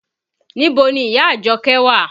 Níbo ni ìyá Àjọkẹ́ wà?